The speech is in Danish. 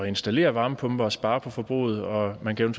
installere varmepumpe og spare på forbruget og man kan